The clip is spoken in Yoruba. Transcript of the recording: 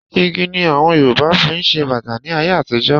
Igi ni àwọn Yorùbá fi ń ṣe bàtà ní ayé àtijọ́